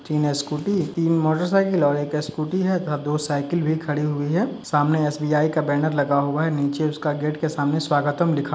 तीन स्कूटी तीन मोटरसाइकिल और एक स्कूटी है तथा दो साइकिल भी खड़ी हुई है। सामने एसबीआई का बैनर लगा हुआ है। नीचे उसका गेट के सामने स्वागतम लिखा --